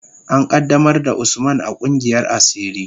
An qaddamar da Usman a kungiyar asiri.